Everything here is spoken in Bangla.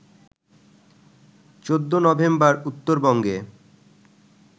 ১৪ নভেম্বর উত্তরবঙ্গে